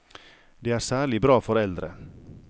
Det er særlig bra for eldre.